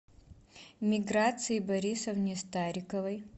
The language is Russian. миграции борисовне стариковой